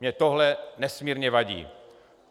Mně tohle nesmírně vadí.